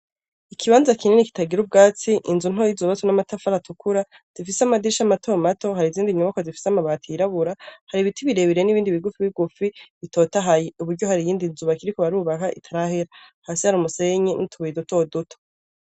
Ikibanza kinini kitagira ubwatsi inzu ntoyoizobatwa n'amatafa ariatukura zifise amadisha amatomato hari izindi nyubako zifise amabati yirabura hari ibiti birebirire n'ibindi bigufi bigufi bitotahaye uburyo hari iyindi nzuba kiriko barubaka itarahela hasi hari umusenye n'iutubuye duto duto.